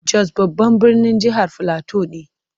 Jos babban birnin jihar Filato ne.